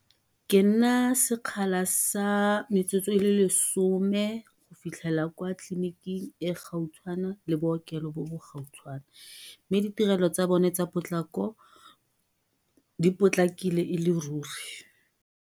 Ke nna sekgala sa metsotso e le lesome go fitlhelela kwa tleliniking e e gautshwane le bookelo bo bo gautshwane, mme ditirelo tsa bone tsa potlako di potlakile e le ruri.